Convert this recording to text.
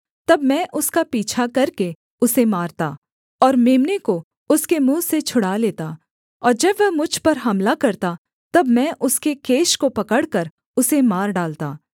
तब मैं उसका पीछा करके उसे मारता और मेम्ने को उसके मुँह से छुड़ा लेता और जब वह मुझ पर हमला करता तब मैं उसके केश को पकड़कर उसे मार डालता